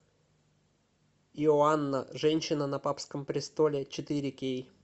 иоанна женщина на папском престоле четыре кей